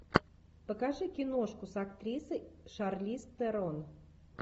покажи киношку с актрисой шарлиз терон